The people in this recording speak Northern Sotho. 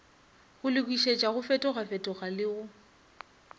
go lokišetša go fetofetogale go